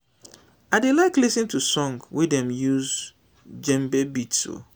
i dey like lis ten to song wey dem use djembe beats o